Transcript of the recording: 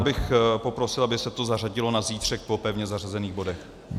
Já bych poprosil, aby se to zařadilo na zítřek po pevně zařazených bodech.